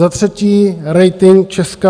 Za třetí - rating Česka.